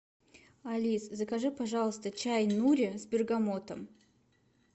алис закажи пожалуйста чай нури с бергамотом